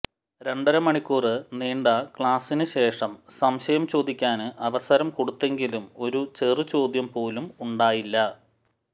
രണ്ടര മണിക്കൂര് നീണ്ട ക്ളാസിന് ശേഷം സംശയം ചോദിക്കാന് അവസരം കൊടുത്തെങ്കിലും ഒരു ചെറുചോദ്യം പോലും ഉണ്ടായില്ല